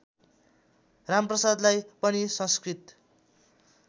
रामप्रसादलाई पनि संस्कृत